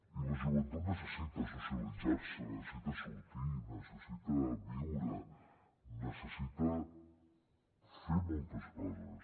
i la joventut necessita socialitzar se necessita sortir necessita viure necessita fer moltes coses